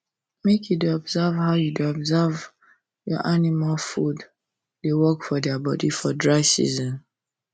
make you da observe how your observe how your animal food da work for dia body for dry season